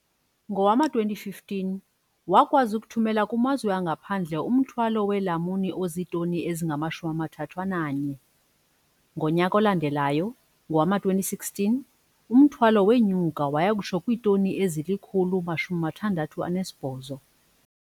Ngowama-2015, wakwazi ukuthumela kumazwe angaphandle umthwalo weelamuni ozitoni ezingama-31. Ngonyaka olandelayo, ngowama-2016, umthamo wenyuka waya kutsho kwiitoni ezili-168.